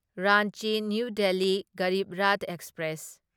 Ranchi New Delhi Garib Rath express